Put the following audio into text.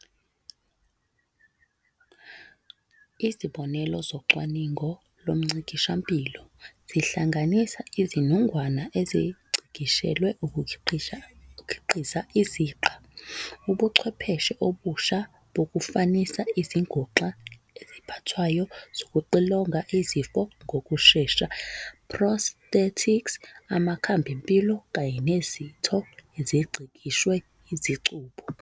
Izibonelo zocwaningo lomngcikishampilo zihlanganisa Izinungwana ezingcikishelwe ukukhiqiza iziqa, ubuchwepheshe obusha bokufanisa, izinguxa eziphathwayo zokuxilonga izifo ngokushesha, "prosthetics", amakhambempilo, kanye nezitho ezingcikishwe izicubu.